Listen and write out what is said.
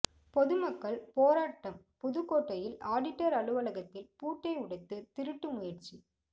பொதுமக்கள் போராட்டம் புதுக்கோட்டையில் ஆடிட்டர் அலுவலகத்தில் பூட்டை உடைத்து திருட்டு முயற்சி